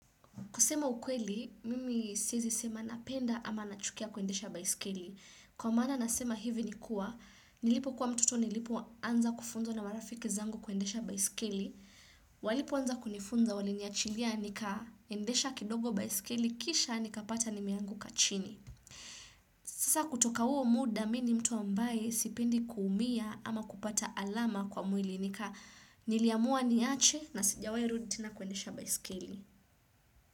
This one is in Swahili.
Kusema ukweli, mimi siezi sema napenda ama nachukia kuendesha baiskeli. Kwa maana nasema hivi nikuwa, nilipo kuwa mtoto nilipoanza kufunzwa na marafiki zangu kuendesha baiskeli. Walipoanza kunifunza waliniachilia nika endesha kidogo baiskeli, kisha nikapata nimeanguka chini. Sasa kutoka huo muda, mii ni mtu ambaye sipendi kuumia ama kupata alama kwa mwili nika niliamua niache na sijawahi rudi tena kuendesha baiskeli.